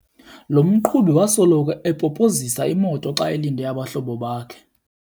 Lo mqhubi wasoloko epopozisa imoto xa elinde abahlobo bakhe.